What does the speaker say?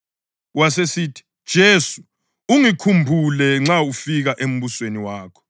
Wasesithi, “Jesu, ungikhumbule nxa ungafika embusweni wakho.”